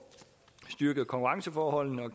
styrket konkurrenceforholdene og